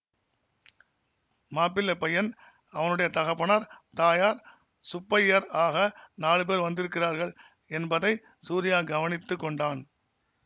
மாப்பிள்ளைப் பையன் அவனுடைய தகப்பனார் தாயார் சுப்பய்யர் ஆக நாலு பேர் வந்திருக்கிறார்கள் என்பதை சூரியா கவனித்து கொண்டான்